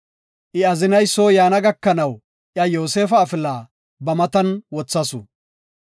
I azinay soo yaana gakanaw iya Yoosefa afila ba matan wothasu.